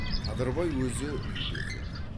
қадырбай өзі үйде екен